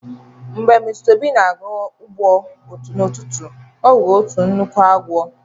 Ka Mr obi na-aga ugbo n'ututu a, o huru otu nnukwu agwo